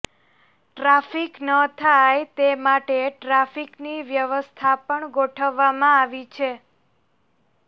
traffic ન થાય તે માટે ટ્રાફિકની વ્યવસ્થા પણ ગોઠવવામાં આવી છે